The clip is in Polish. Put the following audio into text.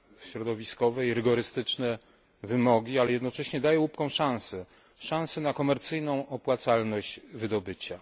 środowiskowe i rygorystyczne wymogi, ale jednocześnie daje łupkom szansę, szansę na komercyjną opłacalność wydobycia.